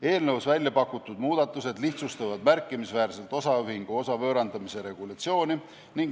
Eelnõus pakutud muudatused lihtsustavad märkimisväärselt osaühingu osa võõrandamise regulatsiooni.